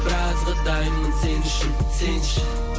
біразға дайынмын сен үшін сенші